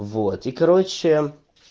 вот и короче